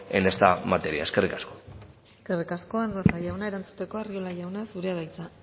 en esa materia eskerrik asko eskerrik asko andueza jauna erantzuteko arriola jauna zurea da hitza